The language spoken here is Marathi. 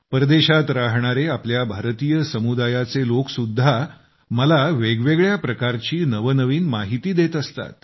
परदेशात राहणारे आपल्या भारतीय समुदायाचे लोकसुद्धा मला वेगवेगळ्या प्रकारची नवनवीन माहिती देत असतात